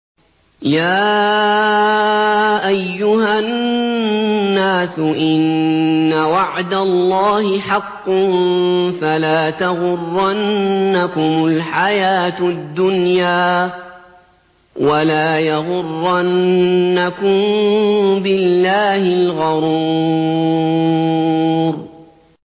يَا أَيُّهَا النَّاسُ إِنَّ وَعْدَ اللَّهِ حَقٌّ ۖ فَلَا تَغُرَّنَّكُمُ الْحَيَاةُ الدُّنْيَا ۖ وَلَا يَغُرَّنَّكُم بِاللَّهِ الْغَرُورُ